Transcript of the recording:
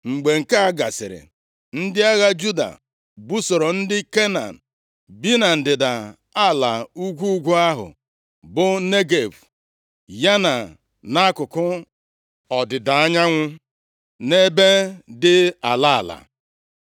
Mgbe nke a gasịrị, ndị agha Juda busoro ndị Kenan bi na ndịda ala ugwu ugwu ahụ, bụ Negev, ya na akụkụ ọdịda anyanwụ nʼebe dị ala ala.